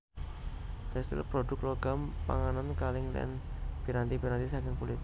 Tèkstil prodhuk logam panganan kalèng lan piranti piranti saking kulit